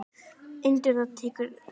Undir það tekur Arnór.